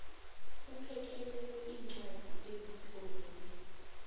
iphekelele iincwadi ezitlolelwe